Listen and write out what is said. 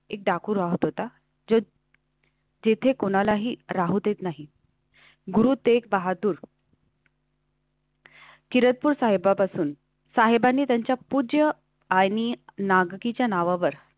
एक डाकू राहत होता जो जिथे कोणालाही राहू देत नाही. गुरु तेग बहादुर. किरातपूर साहेबापासून साहेबांनी त्यांच्या पूज्य आणि नागरीच्या नावावर.